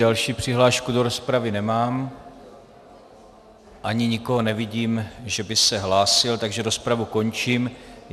Další přihlášku do rozpravy nemám ani nikoho nevidím, že by se hlásil, takže rozpravu končím.